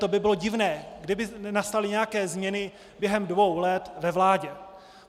To by bylo divné, kdyby nenastaly nějaké změny během dvou let ve vládě.